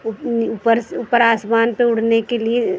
ऊपर ऊपर आसमान पर उड़ने के लिए--